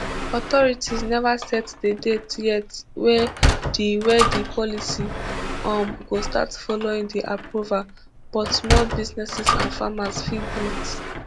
authorities neva set di date yet wey di wey di policy um go start following di approval but small businesses and farmers fit breathe